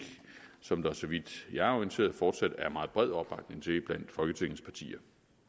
som der så vidt jeg er orienteret fortsat er meget bred opbakning til blandt folketingets partier